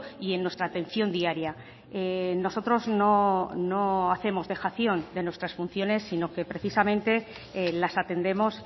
y en nuestra atención diaria nosotros no hacemos dejación de nuestras funciones sino que precisamente las atendemos